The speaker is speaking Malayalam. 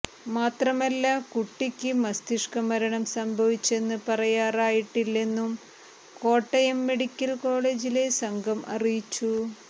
മാത്രമല്ല കുട്ടിക്ക് മസ്തിഷ്ക മരണം സംഭവിച്ചെന്ന് പറയാറായിട്ടില്ലെന്നും കോട്ടയം മെഡിക്കൽ കോളേജിലെ സംഘം അറിയിച്ചു